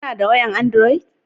Ka na da wayan androd